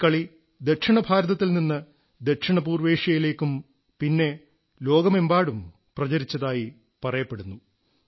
ഈ കളി ദക്ഷിണഭാരതത്തിൽ നിന്ന് ദക്ഷിണപൂർവ്വേഷ്യയിലേക്കും പിന്നെ ലോകമെങ്ങും പ്രചരിച്ചതായി പറയപ്പെടുന്നു